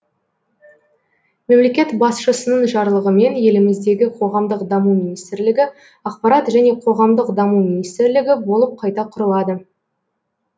мемлекет басшысының жарлығымен еліміздегі қоғамдық даму министрлігі ақпарат және қоғамдық даму министрлігі болып қайта құрылады